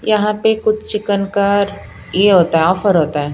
यहाँ पे कुछ चिकनकार ये होता है ऑफर होता है।